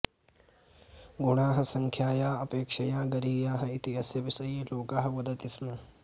गुणाः सङ्ख्यायाः अपेक्षया गरीयाः इति अस्य विषये लोकः वदति स्म